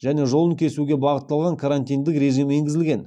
және жолын кесуге бағытталған карантиндік режим енгізілген